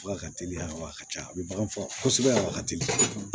Fo ka teliya wa a ka ca a bɛ bagan faga kosɛbɛ a wagati de